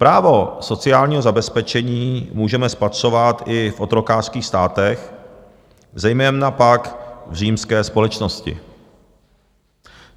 Právo sociálního zabezpečení můžeme spatřovat i v otrokářských státech, zejména pak v římské společnosti.